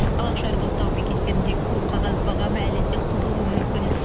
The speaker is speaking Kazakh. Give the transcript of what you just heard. ал ақша айырбастау бекеттерінде көк қағаз бағамы әлі де құбылуы мүмкін